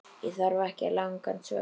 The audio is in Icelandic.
Ég þarf ekki langan svefn.